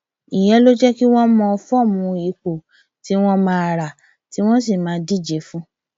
ìyẹn ló lè jẹ kí wọn mọ fọọmù ipò tí wọn máa rà tí wọn sì máa díje fún